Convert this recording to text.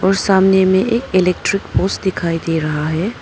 सामने में एक इलेक्ट्रिक पोल्स दिखाई दे रहा है।